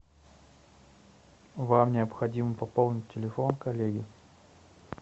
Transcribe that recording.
вам необходимо пополнить телефон коллеги